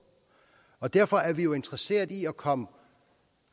og derfor er vi jo interesserede i at komme